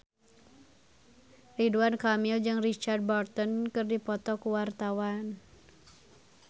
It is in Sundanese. Ridwan Kamil jeung Richard Burton keur dipoto ku wartawan